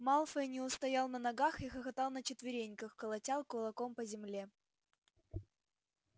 малфой не устоял на ногах и хохотал на четвереньках колотя кулаком по земле